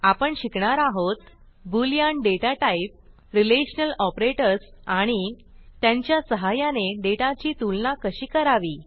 आपण शिकणार आहोत boolean data type relational operators आणि त्यांच्या सहाय्याने डेटाची तुलना कशी करावी